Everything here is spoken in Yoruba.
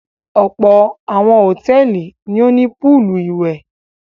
Ọ̀pọ̀ àwọn hòtẹ́ẹ́lì ni ó ní póólù ìwẹ̀.